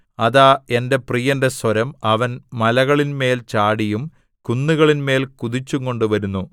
അതാ എന്റെ പ്രിയന്റെ സ്വരം അവൻ മലകളിന്മേൽ ചാടിയും കുന്നുകളിന്മേൽ കുതിച്ചുംകൊണ്ട് വരുന്നു